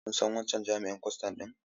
Kun san wancan jami'in kwastan ɗin?